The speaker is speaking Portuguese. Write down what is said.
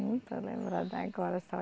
Não estou lembrando agora, só